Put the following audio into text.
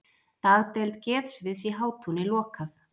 Dagdeild geðsviðs í Hátúni lokað